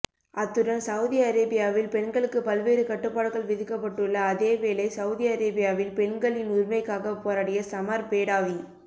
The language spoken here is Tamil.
அத்துடன் சவுதி அரேபியாவில் பெண்களுக்கு பல்வேறு கட்டுப்பாடுகள் விதிக்கப்பட்டுள்ள அதேவேளை சவுதி அரேபியாவில் பெண்களின் உரிமைக்காக போராடிய சமர் பேடாவி